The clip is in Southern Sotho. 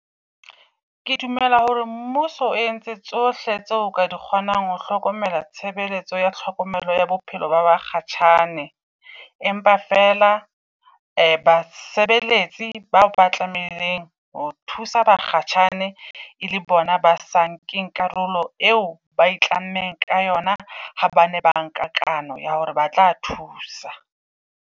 Ke dumela hore mmuso o entse tsohle tseo ka di kgonang ho hlokomela tshebeletso ya tlhokomelo ya bophelo ba bakgatjhane. Empa fela basebeletsi bao ba tlamaileng ho thusa bakgatjhane e le bona ba sa nkemg karolo, eo ba e tlameha ka yona ha bane ba nka kano ya hore batla thusa.